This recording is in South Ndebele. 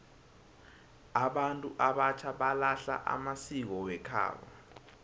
abantu abatjha balahla amasiko wekhabo